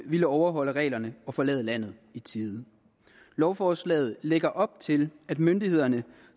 ville overholde reglerne og forlade landet i tide lovforslaget lægger op til at myndighederne